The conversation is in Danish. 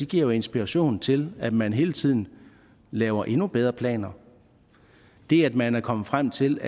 giver inspiration til at man hele tiden laver endnu bedre planer det at man er kommet frem til